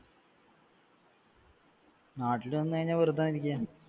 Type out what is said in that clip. നാട്ടിൽ നിന്ന് കഴിഞ്ഞാൽ വെറുതെ